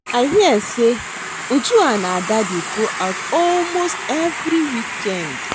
I hear say Uju and Ada dey go out almost every weekend